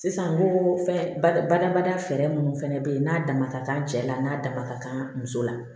Sisan ko fɛn ba badabada fɛɛrɛ munnu fɛnɛ bɛ ye n'a dama ka kan cɛ la n'a dama ka kan muso la